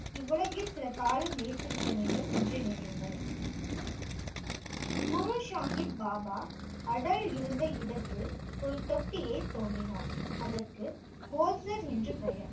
இவ்வுலகில் சில காலம் நிலைத்திருக்க வேண்டும் என்று நினையுங்கள் குரு சாஹிப் பாபா அடல் இருந்த இரு இடத்தில் ஒரு தொட்டியை தோண்டினார் அதற்கு கோல்சர் என்று பெயர்